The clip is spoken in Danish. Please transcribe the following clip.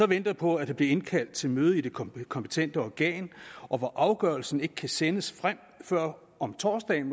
venter på at der bliver indkaldt til møde i det kompetente organ og hvor afgørelsen måske ikke kan sendes frem før om torsdagen